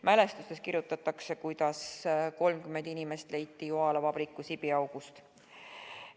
Mälestustes kirjutatakse, kuidas 30 inimest leiti Joala vabriku sibiaugust.